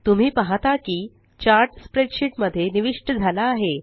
तुम्ही पाहता की चार्ट स्प्रेडशीट मध्ये निविष्ट झाला आहे